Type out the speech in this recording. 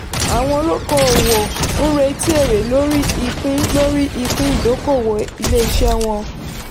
àwọn olóko owó ń retí èrè lórí ipin lórí ipin ìdókòwò ilé-iṣẹ́ wọn.